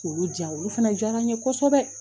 Olu diya olu fana diyara n ye kosɛbɛ